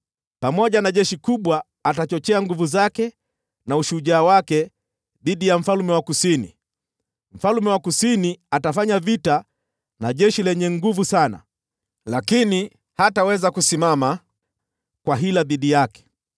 “Pamoja na jeshi kubwa atachochea nguvu zake na ushujaa wake dhidi ya mfalme wa Kusini. Mfalme wa Kusini atafanya vita na jeshi lenye nguvu sana, lakini hataweza kusimama kwa sababu ya kwa hila zilizofanywa dhidi yake.